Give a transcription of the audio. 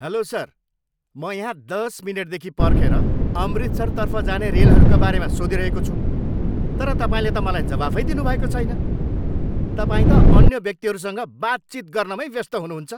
Hello sir! म यहाँ दस मिनेटदेखि पर्खेर अमृतसरतर्फ जाने रेलहरूका बारेमा सोधिरहेको छु तर तपाईँले त मलाई जवाफै दिनुभएको छैन। तपाईँ त अन्य व्यक्तिहरूसँग बातचित गर्नमै व्यस्त हुनुहुन्छ।